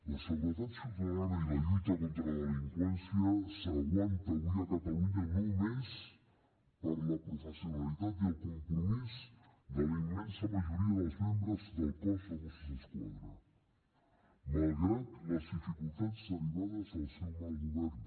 la seguretat ciutadana i la lluita contra la delinqüència s’aguanta avui a catalunya només per la professionalitat i el compromís de la immensa majoria dels membres del cos dels mossos d’esquadra malgrat les dificultats derivades del seu mal govern